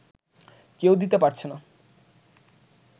কেউ দিতে পারছে না